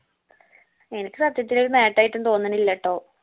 എനിക്ക് സത്യത്തില് ഒരു നെട്ടായിട്ടും തോന്നണില്ലട്ടോ